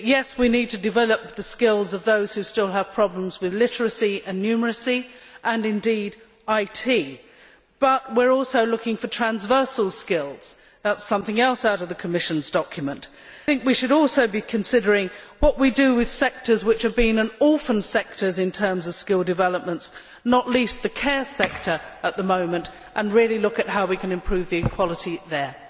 We need to develop the skills of those who still have problems with literacy and numeracy and, indeed, IT, but we are also looking for transversal skills which is something else out of the Commission's document. We should also be considering what we do with sectors that have been orphan sectors in terms of skill developments not least the care sector at the moment and really look at how we can ensure equality there.